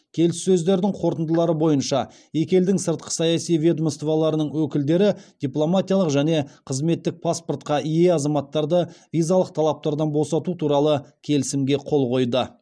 келіссөздердің қорытындылары бойынша екі елдің сыртқы саяси ведомстволарының өкілдері дипломатиялық және қызметтік паспортқа ие азаматтарды визалық талаптардан босату туралы келісімге қол қойды